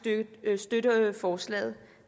støtte forslaget